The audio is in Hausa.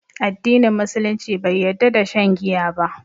Addinin Musulunci bai yarda da shan giya ba